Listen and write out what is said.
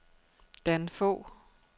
Dan Fogh